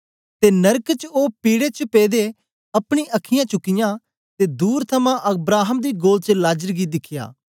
ते नरक च ओ पीडै पेदे अपनी अखीयाँ चुकियां ते दूर थमां अब्राहम दी गोद च लाजर गी दिखया